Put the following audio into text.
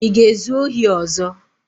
Ị ga-ezu ohi ọzọ?